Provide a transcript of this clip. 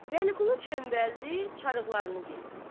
Vəliqulu çöməldi, çarıqlarını geyinsin.